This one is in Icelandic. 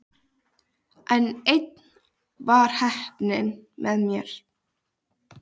En enn var heppnin með mér.